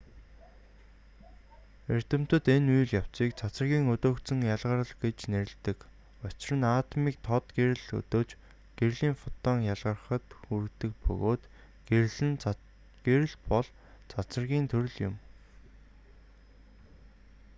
эрдэмтэд энэ үйл явцыг цацрагийн өдөөгдсөн ялгарал гэж нэрлэдэг учир нь атомыг тод гэрэл өдөөж гэрлийн фотон ялгарахад хүргэдэг бөгөөд гэрэл бол цацрагийн төрөл юм